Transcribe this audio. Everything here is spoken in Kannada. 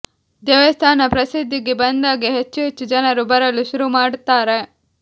ದೇವಸ್ಥಾನ ಪ್ರಸಿದ್ಧಿಗೆ ಬಂದಾಗ ಹೆಚ್ಚು ಹೆಚ್ಚು ಜನರು ಬರಲು ಶುರು ಮಾಡ್ತಾರೆ